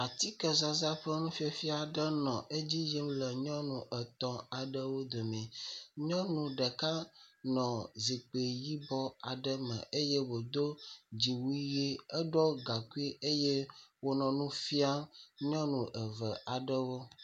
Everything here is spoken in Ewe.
Akikezaza ƒe nu fafia nɔ edzi yim le nyɔnu etɔ̃ aɖewo dome. Nyɔnu ɖeka nɔ zikpui yibɔ aɖe me eye wòdo dziwui ʋi, eɖɔ gaŋkui eye wònɔ nu fia nyɔnu eve aɖewo.